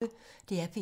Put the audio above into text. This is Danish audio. DR P1